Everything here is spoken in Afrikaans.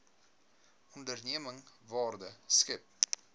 onderneming waarde skep